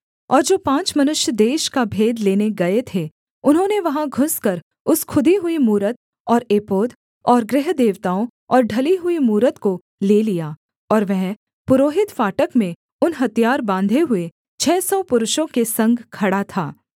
और जो पाँच मनुष्य देश का भेद लेने गए थे उन्होंने वहाँ घुसकर उस खुदी हुई मूरत और एपोद और गृहदेवताओं और ढली हुई मूरत को ले लिया और वह पुरोहित फाटक में उन हथियार बाँधे हुए छः सौ पुरुषों के संग खड़ा था